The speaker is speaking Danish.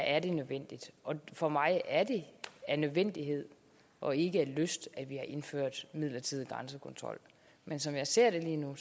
er det nødvendigt og for mig at se er det af nødvendighed og ikke af lyst at vi har indført en midlertidig grænsekontrol men som jeg ser det lige nu